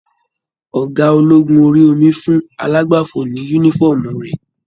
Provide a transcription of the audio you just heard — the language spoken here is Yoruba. Ọgá ológun orí omi fún alàgbàfọ ní yúnífọ̀ọ́mù rẹ.